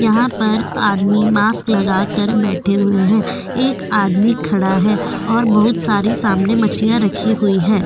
यहां पर आदमी मास्क लगाकर बैठे हुए हैं एक आदमी खड़ा है और बहुत सारी सामने मछलियां रखी हुई है।